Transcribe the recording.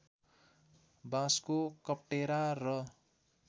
बाँसको कप्टेरा र